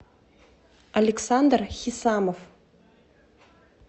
александр хисамов